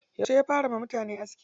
Yauce ya fara yiwa mutane aski?